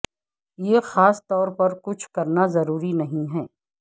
یہ خاص طور پر کچھ کرنا ضروری نہیں ہے